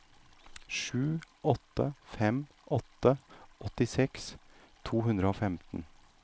sju åtte fem åtte åttiseks to hundre og femten